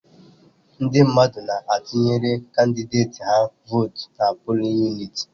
Ndị mmadụ na-atụnyere kandideti ha votu n'pulin uniti